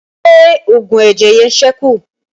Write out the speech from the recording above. Ṣé oògùn ẹ̀jẹ̀ yẹn sẹ́kù?